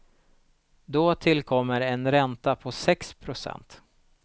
Då tillkommer en ränta på sex procent.